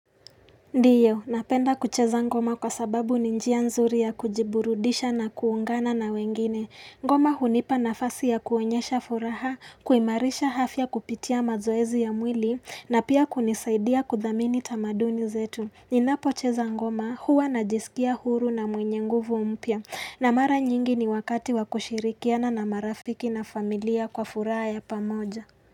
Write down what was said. Ndio, napenda kucheza ngoma kwa sababu ni njia nzuri ya kujiburudisha na kuungana na wengine. Ngoma hunipa nafasi ya kuonyesha furaha, kuimarisha afya kupitia mazoezi ya mwili, na pia kunisaidia kudhamini tamaduni zetu. Ninapocheza ngoma huwa najisikia huru na mwenye nguvu mpya, na mara nyingi ni wakati wa kushirikiana na marafiki na familia kwa furaha ya pamoja.